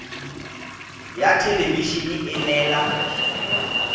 ya thelebi ene e neela